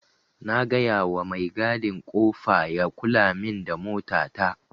Na gayawa mai gadin kofa ya kulamin da mota ta.